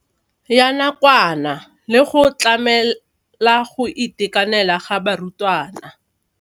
Ya nakwana le go tlamela go itekanela ga barutwana.